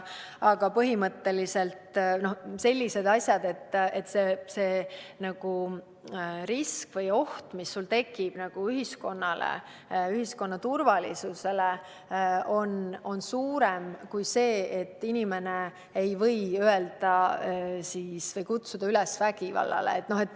Aga põhimõtteliselt on tegemist selliste asjadega, mille korral risk või oht, mis tekib ühiskonna turvalisusele, on suurem kui piirang, et inimene ei või kutsuda üles vägivallale.